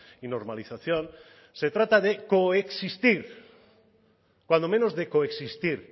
y normalización se trata de coexistir cuando menos de coexistir